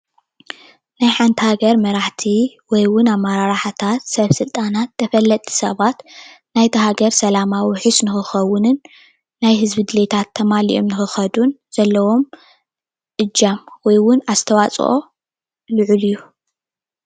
ናይቲ ሓንቲ ሃገር መራሕቲ ወይ ውን ኣመራርሓታት ሰበስልጣናት ተፈለጥቲ ሰባት ናይቲ ሃገር ሰላማ ውሕስ ክኸውንን ናይ ህዝቢ ድልየታት ውሕስ ንኽኸውን።